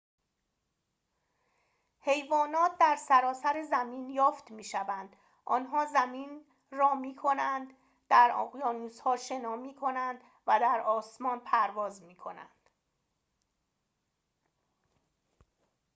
حیوانات در سراسر زمین یافت می‌شوند آنها زمین را می‌کنند در اقیانوس‌ها شنا می‌کنند و در آسمان پرواز می‌کنند